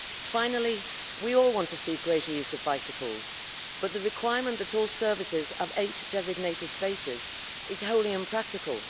Finally, we all want to see greater use of bicycles, but the requirement that all services have eight designated spaces is wholly impractical.